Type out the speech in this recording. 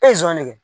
de kɛ